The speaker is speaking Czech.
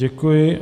Děkuji.